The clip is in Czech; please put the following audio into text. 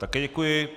Také děkuji.